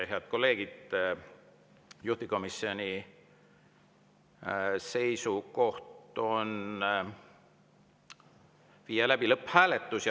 Head kolleegid, juhtivkomisjoni seisukoht on viia läbi lõpphääletus.